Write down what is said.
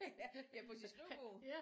Ja på sit skrivebord